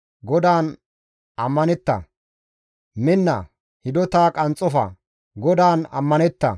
GODAAN ammanetta; minna, hidota qanxxofa, GODAAN ammanetta.